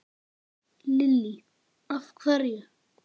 Lillý: Af hverju?